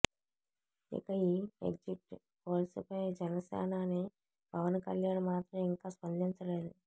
ఇక ఈ exit polls పై జనసేనాని పవన్ కళ్యాణ్ మాత్రం ఇంకా స్పందించలేదు